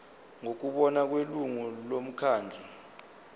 ngokubona kwelungu lomkhandlu